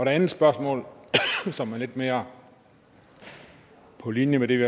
andet spørgsmål som er lidt mere på linje med det vi